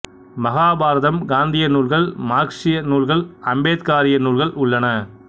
மகாபாரதம் காந்திய நூல்கள் மார்க்சிய நூல்கள் அம்பேத்காரிய நூல்கள் உள்ளன